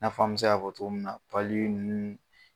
N'a fɔ an me se k'a fɔ cogo min na ninnu